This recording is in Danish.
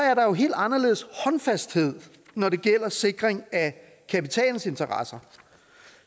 er der jo en helt anderledes håndfasthed når det gælder sikringen af kapitalens interesser